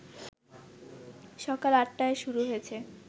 সকাল ৮টায় শুরু হয়েছে